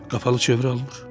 Qapalı çevrə almır.